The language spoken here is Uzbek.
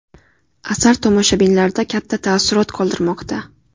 Asar tomoshabinlarda katta taassurot qoldirmoqda.